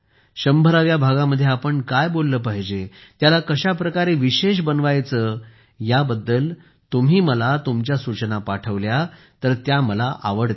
100 व्या भागामध्ये आपण काय बोलले पाहिजे त्याला कशाप्रकारे विशेष बनवायचे याबद्दल तुम्ही मला तुमच्या सूचना पाठवल्या तर त्या मला आवडतील